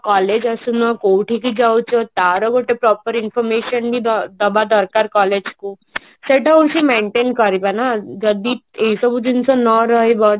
collage ଆସୁନ କୋଉଠିକି ଜାଉଚ ତାର ଗୋଟେ proper information ବି ଦ ଡବା ଦର୍କାର collage କୁ ସେଟା କୁ ସିଏ maintain କରିବେ ନା ଯଦି ଏ ସବୁ ଜିନିଷ ନ ରହିବ